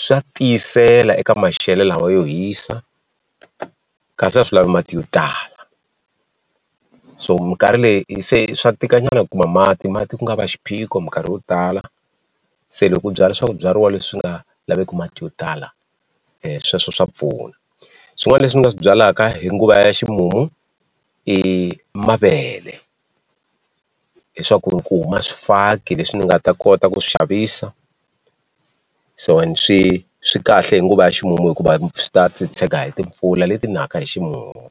swa tiyisela eka maxelo lawa yo hisa kasi a swi lavi mati yo tala so minkarhi leyi swa tika nyana ku kuma mati mati ku nga va xiphiqo minkarhi yo tala se loko u byala swibyariwa leswi nga laveki mati yo tala sweswo swa pfuna swin'wani leswi ni nga swi byalaka hi nguva ya ximumu i mavele leswaku ri ku huma swifaki leswi ni nga ta kota ku swi xavisa so ene swi swi kahle hi nguva ya ximumu hikuva swi ta titshega hi timpfula leti naka hi ximumu.